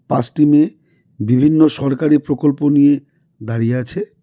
পাঁচটি মেয়ে বিভিন্ন সরকারি প্রকল্প নিয়ে দাঁড়িয়ে আছে.